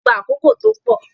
Òṣèlú máa n gbà àkókò tó pọ.